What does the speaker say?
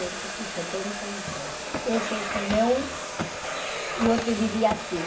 e setenta e seis. Esse é meu... Eu te diria assim.